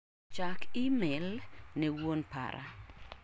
Chak imel ne wuon para.